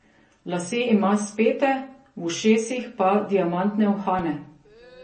Lase ima spete, v ušesih pa diamantne uhane.